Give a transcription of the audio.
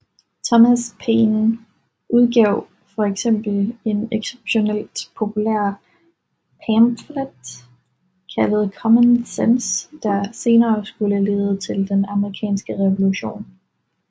Thomas Paine udgav for eksempel en ekseptionelt populær pamflet kaldet Common Sense der senere skulle lede til den amerikanske revolution